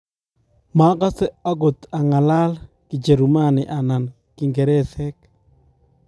makose akot ang'alan Kijerumani anan kiingeresek